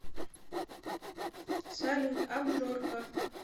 салют абжорка